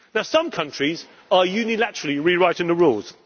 solutions. Some countries are unilaterally rewriting